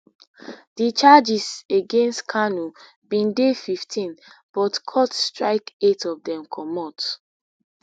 di charges against kanu bin dey fifteen butcourt strike eight of dem comot